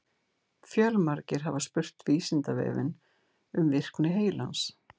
Fjölmargir hafa spurt Vísindavefinn um virkni heilans.